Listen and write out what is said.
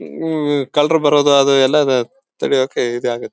ಉಮ್ ಕಳ್ಳರು ಬರೋದಾದ್ರೆ ಎಲ್ಲಾ ತಡೆಯೋಕೇ ಇದಾಗುತ್ತೆ.